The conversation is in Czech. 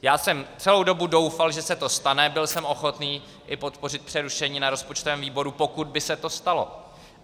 Já jsem celou dobu doufal, že se to stane, byl jsem ochotný i podpořit přerušení na rozpočtovém výboru, pokud by se to stalo.